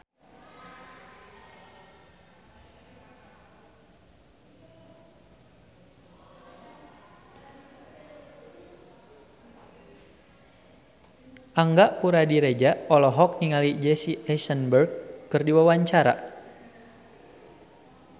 Angga Puradiredja olohok ningali Jesse Eisenberg keur diwawancara